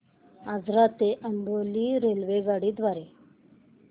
आजरा ते अंबोली रेल्वेगाडी द्वारे